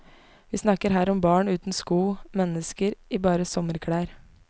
Vi snakker her om barn uten sko, mennesker i bare sommerklær.